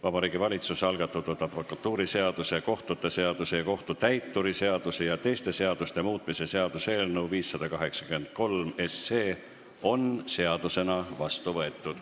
Vabariigi Valitsuse algatatud advokatuuriseaduse, kohtute seaduse, kohtutäituri seaduse ja teiste seaduste muutmise seaduse eelnõu 583 on seadusena vastu võetud.